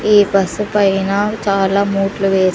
ఈ బస్సు పైన చాలా మూట్లు వే --